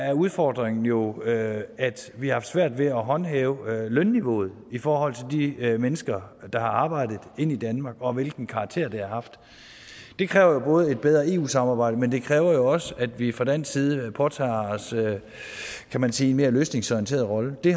er udfordringen jo at vi har haft svært ved at håndhæve lønniveauet i forhold til de mennesker der har arbejdet ind i danmark og hvilken karakter det har haft det kræver jo et bedre eu samarbejde men det kræver jo også at vi fra dansk side påtager os kan man sige en mere løsningsorienteret rolle det